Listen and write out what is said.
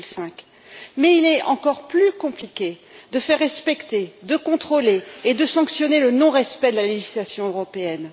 2,5. Mais il est encore plus compliqué de faire respecter, de contrôler et de sanctionner le non respect de la législation européenne.